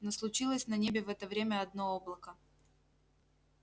но случилось на небе в это время одно облако